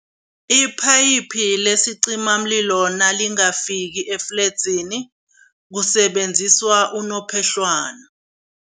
Iphayiphi lesicimamlilo bona lingakafiki efledzini, kusebenziswa unophehlwana.